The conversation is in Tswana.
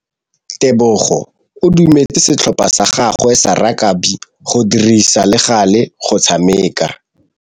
Tebogô o dumeletse setlhopha sa gagwe sa rakabi go dirisa le galê go tshameka.